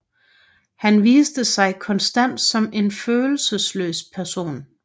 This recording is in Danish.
Han viste sig konstant som en følelsesløs person